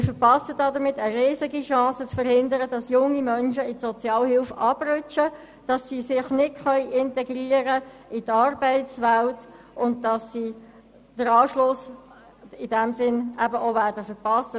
Damit verpassen wir eine riesige Chance, nämlich zu verhindern, dass junge Menschen in die Sozialhilfe abrutschen, sich nicht in die Arbeitswelt integrieren können und in diesem Sinn den Anschluss verpassen.